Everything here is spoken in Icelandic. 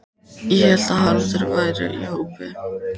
Ég hélt að Haraldur væri í hópi